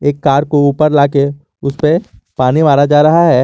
Car को ऊपर ला के उसे पे पानी मारा जा रहा है।